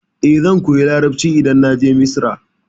Eh, zan koya Larabci idan na je Misra.